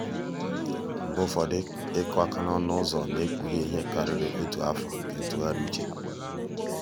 mgbe ụfọdụ ịkụ aka n'ọnụ ụzọ na-ekpughe ihe karịrị otu afọ nke ntụgharị uche.